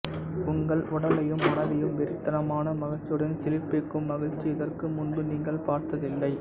உங்கள் உடலையும் மனதையும் வெறித்தனமான மகிழ்ச்சியுடன் சிலிர்ப்பிக்கும் மகிழ்ச்சி இதற்கு முன்பு நீங்கள் பார்த்ததில்லை